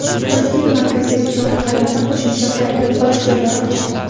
Toshkent markazidagi chorrahalarda qo‘shimcha qayrilib olish joylari ochildi.